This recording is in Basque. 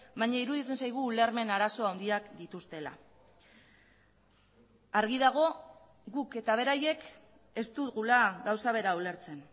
baina iruditzen zaigu ulermen arazo handiak dituztela argi dago guk eta beraiek ez dugula gauza bera ulertzen